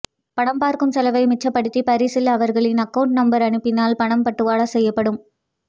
படம் பார்க்கும் செலவை மிச்சபடுத்திய பரிசல் அவர்களின் அக்கௌன்ட் நம்பர் அனுப்பினால் பணம் பட்டுவாடா செய்யப்படும்